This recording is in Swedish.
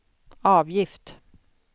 avgift